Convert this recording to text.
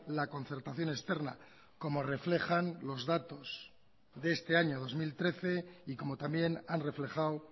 la concertación externa como reflejan los datos de este año dos mil trece y como también han reflejado